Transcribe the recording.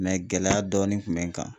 gɛlɛya dɔɔni kun bɛ n kan.